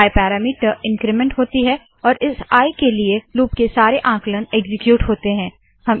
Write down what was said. आई parameter increment होती है और इस आई के लिए लूप के सारे आंकलन एक्सीक्यूट होते है